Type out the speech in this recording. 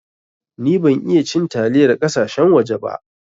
Ni ban iya cin taliyar kasashen waje ba.